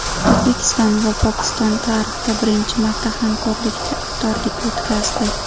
O‘zbekiston va Pokiston tarixda birinchi marta hamkorlikda iftorlik o‘tkazdi.